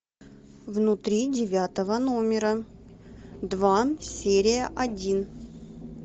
внутри девятого номера два серия один